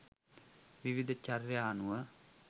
විවිධ චර්යා අනුව